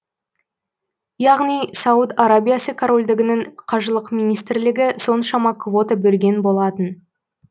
яғни сауд арабиясы корольдігінің қажылық министрлігі соншама квота бөлген болатын